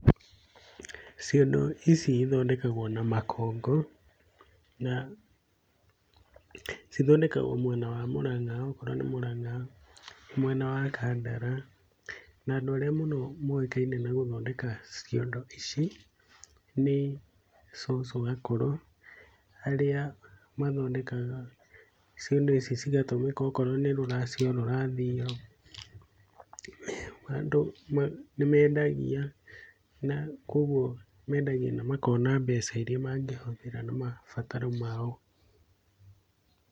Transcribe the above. Ciondo ici ithondekagwo na makongo, na cithondekagwo mwena wa Murang'a, okorwo ni Murang'a mwena wa Kandara. Na andũ arĩa mũno moĩkaine na gũthondeka ciondo ici, ni cucu akũrũ, arĩa mathondekaga ciondo ici cigatũmĩka okorwo nĩ rũracio rũrathio, Andũ ma nĩmendagia na koguo mendagia na makona mbeca iria mangĩhũthĩra na mabataro mao.